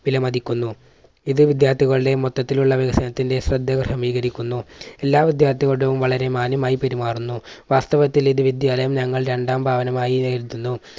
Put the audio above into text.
വിലമതിക്കുന്നു. ഇത് വിദ്യാർത്ഥികളുടെ മൊത്തത്തിലുള്ള വികസനത്തിന്റെ ശ്രദ്ധ കരിക്കുന്നു. എല്ലാ വിദ്യാർത്ഥികളോടും വളരെ മാന്യമായി പെരുമാറുന്നു വാസ്തവത്തിൽ ഇത് വിദ്യാലയം ഞങ്ങൾ രണ്ടാം ഭവനമായി നേരിടുന്നു.